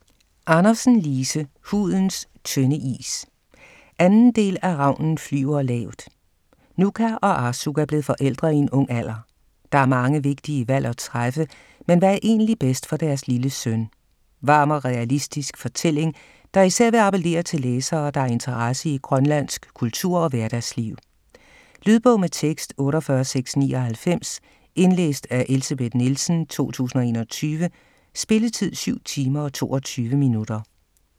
Andersen, Lise: Hudens tynde is 2. del af Ravnen flyver lavt. Nuka og Arsuk er blevet forældre i en ung alder. Der er mange vigtige valg at træffe, men hvad er egentlig bedst for deres lille søn? Varm og realistisk fortælling, der især vil appellere til læsere, der har interesse i grønlandsk kultur og hverdagsliv. Lydbog med tekst 48699 Indlæst af Elsebeth Nielsen, 2021. Spilletid: 7 timer, 22 minutter.